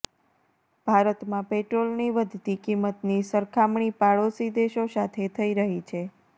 ભારતમાં પેટ્રોલની વધતી કિંમતની સરખામણી પાડોશી દેશો સાથે થઈ રહી છે